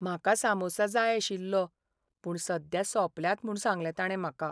म्हाका सामुसा जाय आशिल्लो, पूण सद्या सोंपल्यात म्हूण सांगलें ताणें म्हाका.